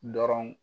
Dɔrɔn